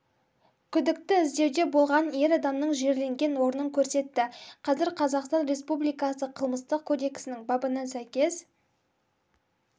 күдікті іздеуде болған ер адамның жерленген орнын көрсетті қазір қазақстан республикасы қылмыстық кодексінің бабына сәйкес